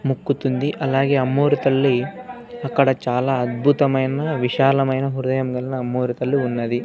ముక్కుతుంది అలాగే అమ్మోరు తల్లి అక్కడ చాలా అద్భుతమైన విశాలమైన హృదయం కలిన అమ్మోరు తల్లి ఉన్నది.